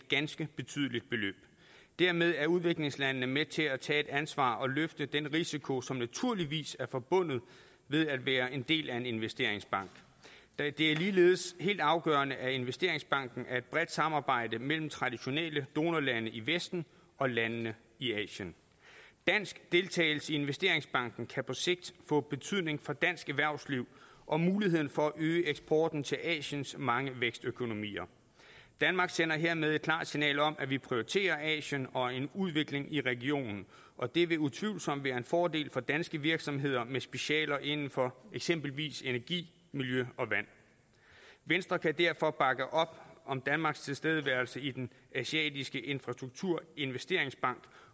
ganske betydelige beløb dermed er udviklingslandene med til at tage et ansvar og løfte den risiko som naturligvis er forbundet med at være en del af en investeringsbank det er ligeledes helt afgørende at investeringsbanken er et bredt samarbejde mellem traditionelle donorlande i vesten og landene i asien dansk deltagelse i investeringsbanken kan på sigt få betydning for dansk erhvervsliv og muligheden for at øge eksporten til asiens mange vækstøkonomier danmark sender hermed et klart signal om at vi prioriterer asien og en udvikling i regionen og det vil utvivlsomt være en fordel for danske virksomheder med specialer inden for eksempelvis energi miljø og vand venstre kan derfor bakke op om danmarks tilstedeværelse i den asiatiske infrastrukturinvesteringsbank